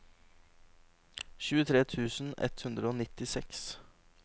tjuetre tusen ett hundre og nittiseks